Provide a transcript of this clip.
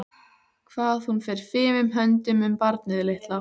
Hvað hún fer fimum höndum um barnið litla.